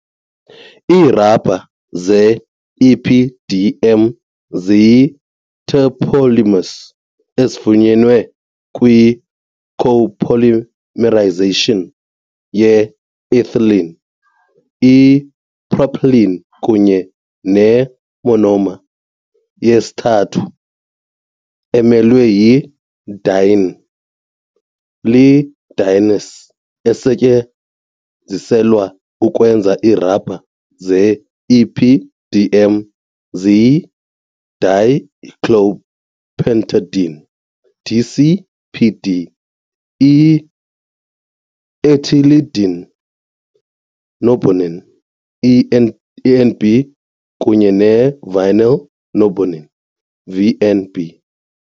Iirubha ze-EPDM ziyi-terpolymers ezifunyenwe kwi-copolymerization ye-ethylene, ipropylene kunye ne-monomer yesithathu emelwe yi-diene . Ii-dienes ezisetyenziselwa ukwenza iirubha ze-EPDM ziyi-dicyclopentadiene, DCPD, i-ethylidene norbornene, ENB, kunye ne-vinyl norbornene, VNB.